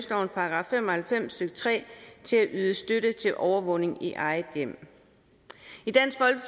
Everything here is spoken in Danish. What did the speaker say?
§ fem og halvfems stykke tre til at yde støtte til overvågning i eget hjem